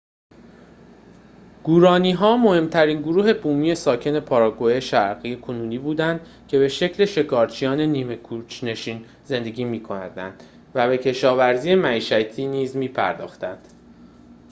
گوارانی‌ها مهم‌ترین گروه بومی ساکن پاراگوئه شرقی کنونی بودند که به شکل شکارچیان نیمه کوچ‌نشین زندگی می‌کردند و به کشاورزی معیشتی نیز می‌پرداختند